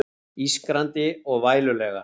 Ískrandi og vælulegar.